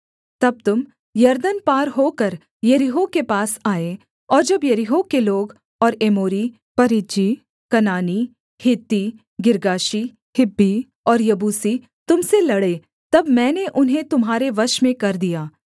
तब तुम यरदन पार होकर यरीहो के पास आए और जब यरीहो के लोग और एमोरी परिज्जी कनानी हित्ती गिर्गाशी हिब्बी और यबूसी तुम से लड़े तब मैंने उन्हें तुम्हारे वश में कर दिया